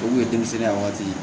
O kun ye denmisɛnninya waati ye